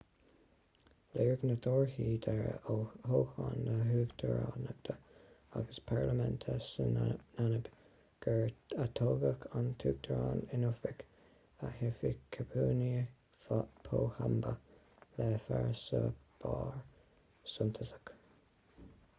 léirigh na torthaí deiridh ó thoghcháin na huachtaránachta agus parlaiminte sa namaib gur atoghadh an t-uachtarán in oifig hifikepunye pohamba le farasbarr suntasach